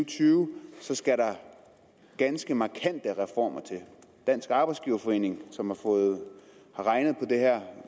tyve så skal der ganske markante reformer til dansk arbejdsgiverforening som har regnet på det her